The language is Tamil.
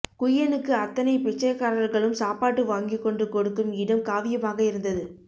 குய்யனுக்கு அத்தனை பிச்சைக்காரர்களும் சாப்பாடு வாங்கிக்கொண்டு கொடுக்கும் இடம் காவியமாக இருந்தது